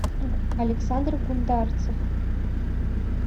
александр гундарцев